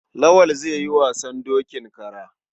Lawal zai yi wasan dokin kara.